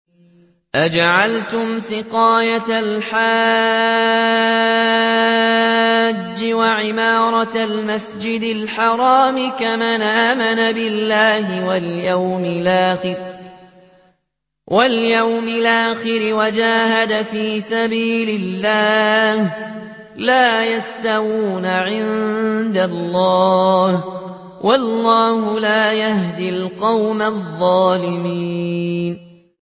۞ أَجَعَلْتُمْ سِقَايَةَ الْحَاجِّ وَعِمَارَةَ الْمَسْجِدِ الْحَرَامِ كَمَنْ آمَنَ بِاللَّهِ وَالْيَوْمِ الْآخِرِ وَجَاهَدَ فِي سَبِيلِ اللَّهِ ۚ لَا يَسْتَوُونَ عِندَ اللَّهِ ۗ وَاللَّهُ لَا يَهْدِي الْقَوْمَ الظَّالِمِينَ